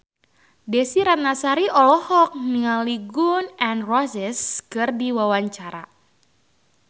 Desy Ratnasari olohok ningali Gun N Roses keur diwawancara